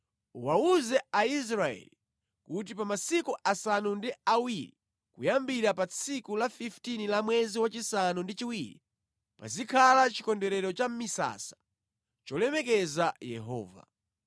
“Uwawuze Aisraeli kuti pa masiku asanu ndi awiri kuyambira pa tsiku la 15 la mwezi wachisanu ndi chiwiri pazikhala Chikondwerero cha Misasa cholemekeza Yehova.